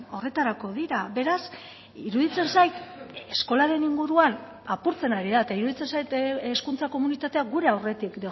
horretarako dira beraz iruditzen zait eskolaren inguruan apurtzen ari da eta iruditzen zait hezkuntza komunitatea gure aurretik